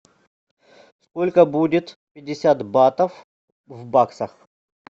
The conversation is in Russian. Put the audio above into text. сколько будет пятьдесят батов в баксах